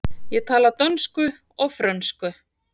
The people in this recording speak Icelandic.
Ég tala dönsku og frönsku.